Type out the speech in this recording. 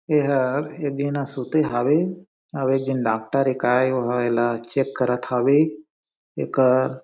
एहा एक झीन ह सुते हावे अउ एक झीन डॉक्टर एकाये गो हावे ला चेक करत हे एकर--